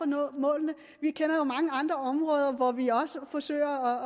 nå målene vi kender jo mange andre områder hvor vi også forsøger